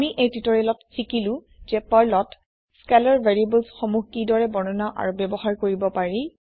আমি এই টিওটৰিয়েলত শিকিলো যে পাৰ্লত স্কেলাৰ ভেৰিয়েবলছ সনূহ কিদৰে বৰ্ণনা আৰু ব্যৱহাৰ কৰিব পাৰি